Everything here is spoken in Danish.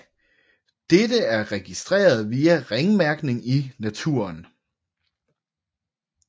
Dette er registreret via ringmærkning i naturen